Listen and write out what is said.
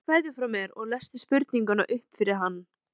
Skilaðu kveðju frá mér og lestu spurninguna upp fyrir hann.